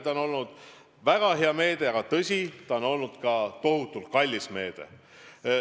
See on olnud väga hea meede, aga tõsi, see on olnud ka tohutult kallis meede.